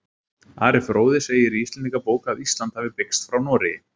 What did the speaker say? Ari fróði segir í Íslendingabók að Ísland hafi byggst frá Noregi.